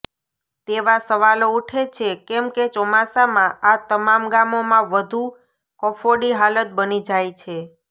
તેવા સવાલો ઉઠે છે કેમકે ચોમાસામા આ તમામ ગામોમા વધુ કફોડી હાલત બની જાય છે